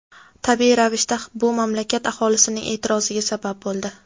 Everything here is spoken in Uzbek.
Tabiiy ravishda bu mamlakat aholisining e’tiroziga sabab bo‘ldi.